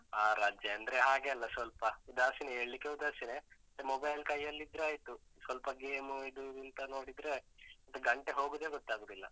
ಆಹ್ ರಜೆ ಅಂದ್ರೆ ಹಾಗೆ ಅಲ್ಲ ಸ್ವಲ್ಪ ಉದಾಸೀನ, ಏಳಿಕ್ಕೇ ಉದಾಸೀನ, ಮತ್ತೆ mobile ಕೈಯಲ್ಲಿದ್ರೆ ಆಯ್ತು. ಸ್ವಲ್ಪ game ಇದು ಇಂತ ನೋಡಿದ್ರೆ ಮತ್ತೆ ಗಂಟೆ ಹೋಗುದೇ ಗೊತ್ತಾಗುದಿಲ್ಲ.